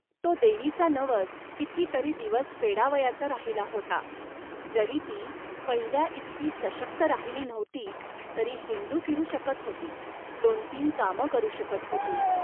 तो देवीचा नवस कितीतरी दिवस फेडावयाचा राहिला होता. जरी ती पहिल्याइतकी सशक्त राहिली नव्हती, तरी हिंडूफिरू शकत होती, दोन धंदे करू शकत होती